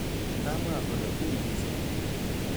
Kamwa kole uiy missing